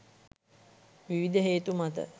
විවිධ හේතු මත